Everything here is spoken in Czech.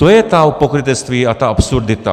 To je to pokrytectví a ta absurdita.